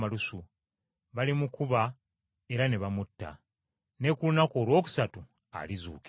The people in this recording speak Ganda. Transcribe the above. balimukuba era ne bamutta. Ne ku lunaku olwokusatu alizuukira.”